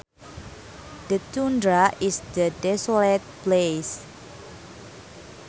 The tundra is a desolate place